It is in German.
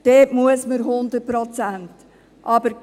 Dort muss man 100 Prozent arbeiten.